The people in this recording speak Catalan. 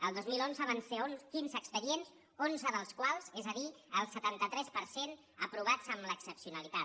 el dos mil onze van ser quinze expedients onze dels quals és a dir el setanta tres per cent aprovats amb l’excepcionalitat